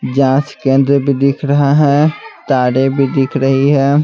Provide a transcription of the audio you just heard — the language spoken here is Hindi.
जांच केंद्र भी दिख रहा है तारे भी दिख रही है।